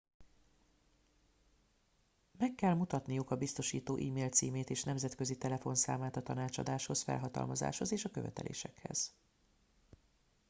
meg kell mutatniuk a biztosító e mail címét és nemzetközi telefonszámát a tanácsadáshoz felhatalmazáshoz és a követelésekhez